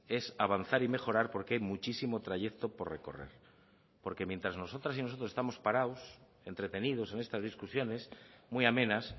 es avanzar y mejorar porque hay muchísimo trayecto por recorrer porque mientras nosotras y nosotros estamos parados entretenidos en estas discusiones muy amenas